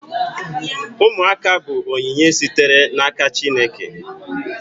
Ụmụaka bụ onyinye sitere n'aka Chineke